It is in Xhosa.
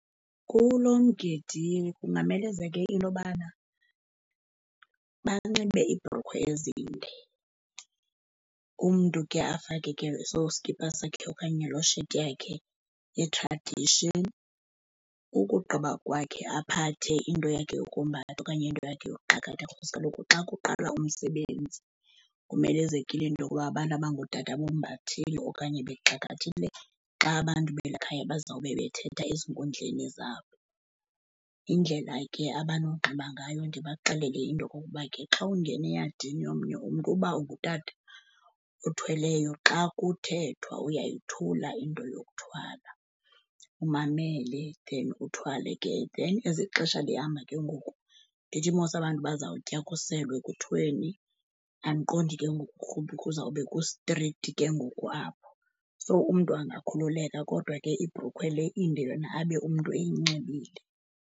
Kulo mgidi kungamelezeke into yobana banxibe iibhrukhwe ezinde, umntu ke afake ke neso sikipa sakhe okanye loo sheti yakhe ye-tradition. Ukugqiba kwakhe, aphathe into yakhe yokombatha okanye into yakhe yokuxakatha because kaloku xa kuqala umsebenzi kumelezekile into yokuba abantu abangootata bombathile okanye bexakathile xa abantu beli khaya bazawube bethetha ezinkundleni zabo. Yindlela ke abanonxiba ngayo, ndibaxelele into okokuba ke xa ungena eyadini yomnye umntu uba ungutata uthweleyo, xa kuthethwa uyayothula into yokuthwala umamele, then uthwale ke. Then as ixesha lihamba ke ngoku, andithi mos abantu bazawutya, kuselwe, ni, andiqondi ke ngoku kuzawube kustrikthi ke ngoku apho, so umntu angakhululeka kodwa ke ibhrukhwe le inde yona abe umntu eyinxibile.